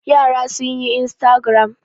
Yara sun yi instagram.